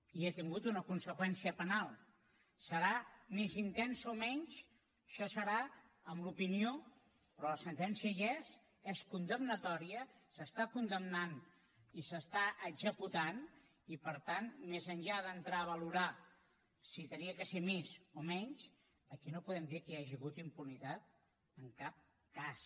i ha tingut una conseqüència penal serà més intensa o menys això serà en l’opinió però la sentència hi és és condemnatòria s’està condemnant i s’està executant i per tant més enllà d’entrar a valorar si havia de ser més o menys aquí no podem dir que hi hagi hagut impunitat en cap cas